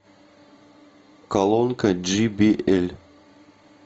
колонка джи би эль